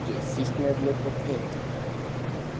Fundu fíkniefni og peninga